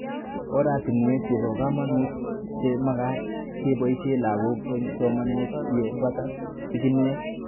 Oratinwek chepo kamanut che magat kopishe lakok eng' somanet ye pata pichinwek